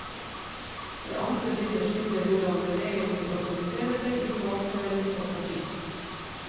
Det andre bindet skildrer hvordan bevegelsen organiserer seg i fagforening og parti.